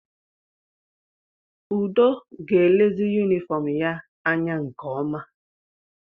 Udo ga-elezi yunifọọm ya anya nke ọma.